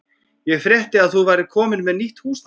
Ég frétti að þú værir komin með nýtt húsnæði.